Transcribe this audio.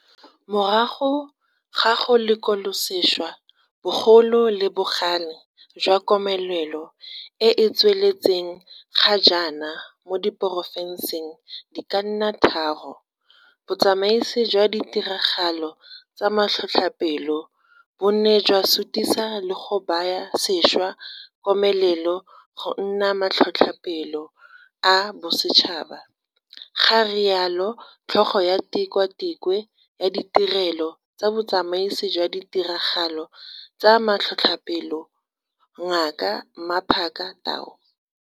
Morago ga go lekolasešwa bogolo le bogale jwa komelelo e e tsweletseng ga jaana mo diporofenseng di ka nna tharo, botsamaisi jwa ditiragalo tsa matlhotlhapelo bo ne jwa sutisa le go baya sešwa komelelo go nna matlhotlhapelo a bosetšhaba, ga rialo tlhogo ya Tikwatikwe ya Ditirelo tsa Botsamaisi jwa Ditiragalo tsa Matlhotlhape lo, Ngaka Mmaphaka Tau.